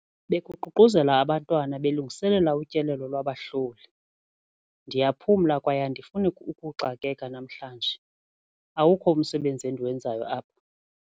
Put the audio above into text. Bekuququzela abantwana belungiselela utyelelo lwabahloli. Ndiyaphumla kwaye andifuni ukuxakeka namhlanje, awukho umsebenzi endiwenzayo apha.